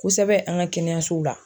Kosɛbɛ an ka kɛnɛyasow la.